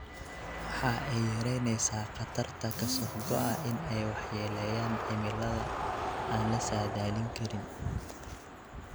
Waxa ay yaraynaysaa khatarta ka soo go'a in ay waxyeeleeyaan cimilada aan la saadaalin karin.